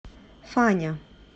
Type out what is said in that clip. фаня